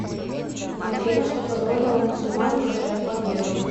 афина что позволило мусульманам одержать победу